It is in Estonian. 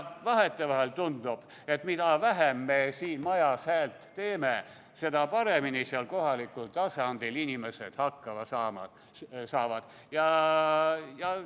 Vahetevahel tundub, et mida vähem me siin majas häält teeme, seda paremini kohalikul tasandil inimesed hakkama saavad.